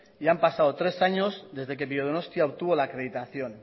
y han pasado tres años desde que biodonostia obtuvo la acreditación